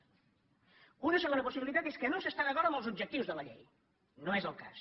una segona possibilitat és que no s’està d’acord amb els objectius de la llei no és el cas